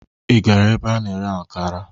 Ị gara ebe a na-ere akara?